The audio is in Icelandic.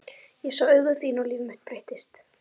Ég sá augu þín og líf mitt breyttist.